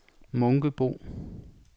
Munkebo